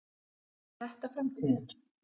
Er þetta framtíðin?